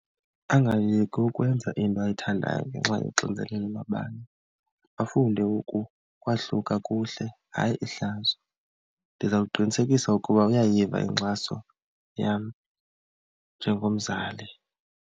Angayeki ukwenza into ayithandayo ngenxa yoxinzelelo lwabanye, afunde ukwahluka kuhle hayi ihlazo. Ndiza kuqinisekisa ukuba uyayiva inkxaso yam njengomzali.